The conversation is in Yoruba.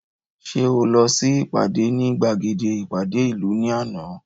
Ṣé o lọ sí ìpàdé ní gbàgede ìpàdé ìlú ní àná